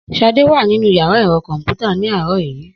Sade wà nínú yàrá ẹ̀rọ kọ̀m̀pútà ní àárọ̀ yìí